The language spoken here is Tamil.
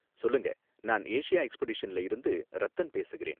சொல்லுங்க. நான் ஏசியா எக்ஸ்பெடிஷன்ல இருந்து ரத்தன் பேசுகிறேன்.